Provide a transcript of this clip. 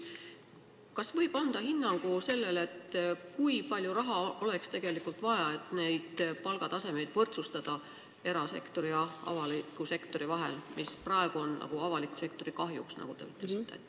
Kas võib anda hinnangu sellele, kui palju raha oleks tegelikult vaja, et võrdsustada palgataset era- ja avaliku sektori vahel, mis praegu on avaliku sektori kahjuks, nagu te ütlesite?